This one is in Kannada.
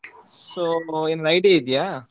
So ಏನ್ idea ಇದೆಯಾ?